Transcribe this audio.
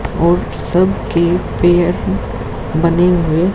और सबकी पेयर बने हुए--